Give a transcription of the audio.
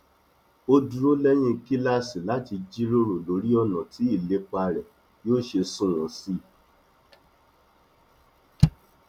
ó dúró lẹyìn kíláàsì láti jíròrò lórí ọnà tí ìlépa rẹ yóò ṣe sunwọn sí i